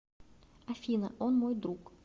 афина он мой друг